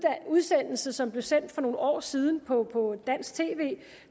udsendelse som blev sendt for nogle år siden på på dansk tv jeg